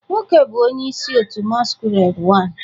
nwoke bu onye isi otu masquerade I